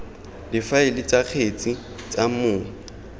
difaele tsa kgetse tsa mong